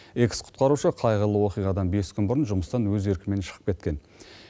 экс құтқарушы қайғылы оқиғадан бес күн бұрын жұмыстан өз еркімен шығып кеткен